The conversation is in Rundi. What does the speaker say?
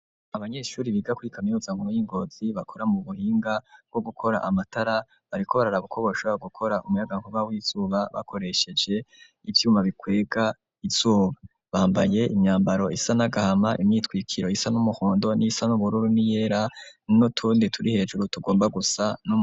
Abanyeshure biga kuri kaminuza nkuru y'iNgozi bakora mubuhinga bwo gukora amatara bariko baraba uko bokora umuyagankuba w'izuba bakoresheje ivyuma bikwega izuba . Bambaye imyambaro isa n'agahama imyitwikiro isa n'umuhondo n'iyisa n'ubururu n'iyera n'utundi turi hejuru tugomba gusa n'umu.